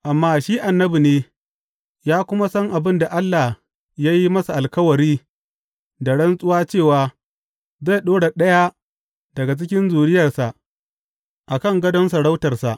Amma shi annabi ne ya kuma san abin da Allah ya yi masa alkawari da rantsuwa cewa zai ɗora ɗaya daga cikin zuriyarsa a kan gadon sarautarsa.